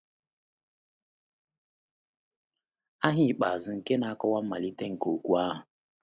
Aha ikpeazụ na-akọwa mmalite nke okwu ahụ.